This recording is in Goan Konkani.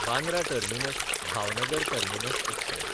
Bandra टर्मिनस–भावनगर terminus express